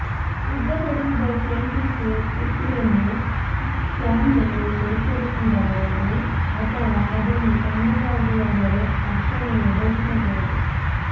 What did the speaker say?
ಸಿದ್ಧಪಡಿಸಿದ ಕ್ಯಾಂಟುಸಿ ಕುಕೀಯನ್ನು ಜಾರ್ನಲ್ಲಿ ಶೇಖರಿಸಿಡಬಹುದು ಅಥವಾ ಅದನ್ನು ತಣ್ಣಗಾಗುವಾಗಲೇ ತಕ್ಷಣವೇ ಒದಗಿಸಬಹುದು